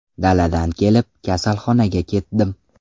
Daladan kelib, kasalxonaga ketdim.